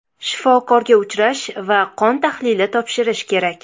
Shifokorga uchrash va qon tahlili topshirish kerak.